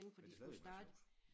Men det er stadigvæk meget sjovt